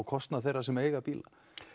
kostnað þeirra sem eiga bíla